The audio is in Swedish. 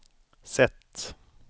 sätt